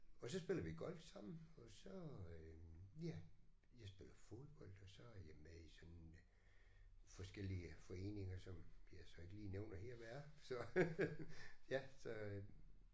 Og så spiller vi golf sammen og så øh ja jeg spiller fodbold og så er jeg med i sådan øh forskellige foreninger som jeg så ikke lige nævner her hvad er så øh ja så øh